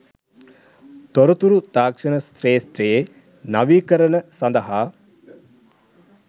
තොරතුරු තාක්ෂණ ක්ෂේත්‍රයේ නවීකරණ සඳහා